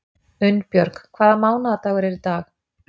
Unnbjörg, hvaða mánaðardagur er í dag?